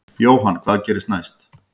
Jóhann: Hvað gerist næst?